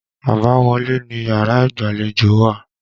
Àbáwọlé niyàrá ìgbàlejò wà.